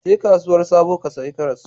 Je kasuwar sabo ka sayi karas.